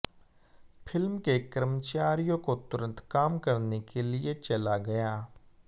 film के कर्मचारियों को तुरंत काम करने के लिए चला गया